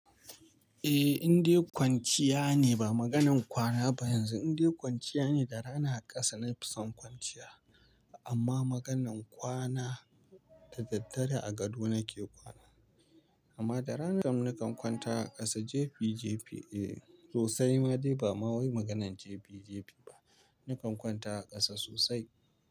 Eh, in dai kwanciya ne ba maganar kwana ba yanzu. In dai kwanciya ne da rana a ƙasa na fi son kwanciya. Amma maganar kwana da daddare a gado nake kwana. Amma da rana nakan kwanta a ƙasa jefi-jefi. Eh sosai ma dai ba ma wai maganar jefi-jefi ba. Nakan kwanta a ƙasa sosai.